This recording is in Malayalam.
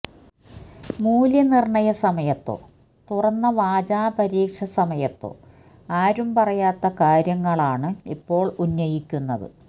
മൂല്യനിര്ണയ സമയത്തോ തുറന്ന വാചാ പരീക്ഷാസമയത്തോ ആരും പറയാത്ത കാര്യങ്ങളാണ് ഇപ്പോള് ഉന്നയിക്കുന്നത്